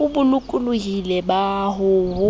o bolokolohing ba ho ho